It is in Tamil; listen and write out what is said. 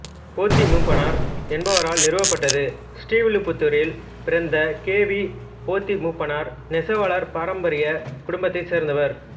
போத்தி மூப்பனார் என்பவரால் நிறுவப்பட்டது ஸ்ரீவில்லிபுத்தூரில் பிறந்த கே வி போத்தி மூப்பனார் நெசவாளர் பாரம்பரிய குடும்பத்தைச் சேர்ந்தவர்